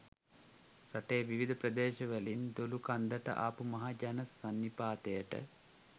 රටේ විවිධ ප්‍රදේශවලින් දොළුකන්දට ආපු මහ ජන සන්නිපාතයට